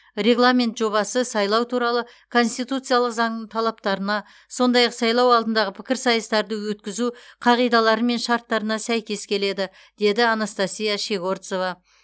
регламент жобасы сайлау туралы конституциялық заңның талаптарына сондай ақ сайлау алдындағы пікірсайыстарды өткізу қағидалары мен шарттарына сәйкес келеді деді анастасия щегорцова